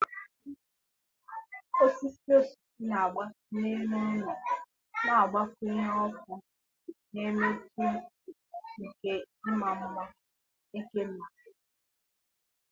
Osisi osisi na-agbatị n'elu ụlọ, na-agbakwunye ọkụ na mmetụ nke ịma mma eke na oghere.